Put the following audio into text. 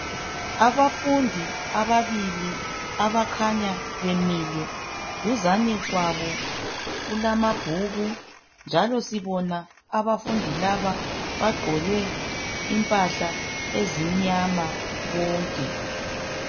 Abafundi ababili abakhanya bemile duzane kwabo kulamabhuku njalo sibona abafundi laba bagqoke impahla ezimnyama bonke.